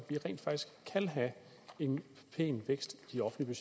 have en pæn vækst i de offentlige